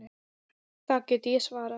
Það get ég svarið.